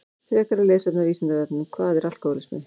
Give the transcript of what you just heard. Frekara lesefni á Vísindavefnum Hvað er alkóhólismi?